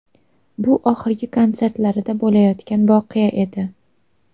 Bu oxirgi konsertlarida bo‘layotgan voqea edi.